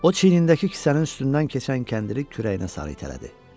O çiynindəki kisənin üstündən keçən kəndiri kürəyinə sarı itələdi.